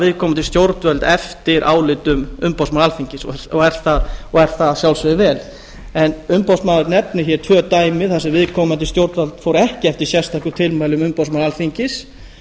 viðkomandi stjórnvöld eftir álitum umboðsmanns alþingis og er það að sjálfsögðu vel en umboðsmaður nefnir hér tvö dæmi þar sem viðkomandi stjórnvald fór ekki eftir sérstökum tilmælum umboðsmanns alþingis